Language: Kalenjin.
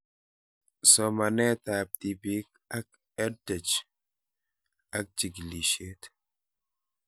Somanet ab tipik ak EdTech ak chig'ilishet